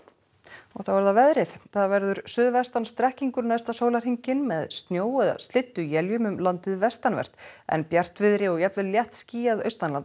og þá að veðri það verður suðvestan strekkingur næsta sólarhringinn með snjó eða slydduéljum um landið vestanvert en bjartviðri og jafnvel léttskýjað